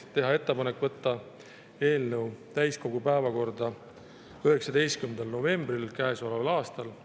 Teha ettepanek võtta eelnõu täiskogu päevakorda 19. novembril käesoleval aastal.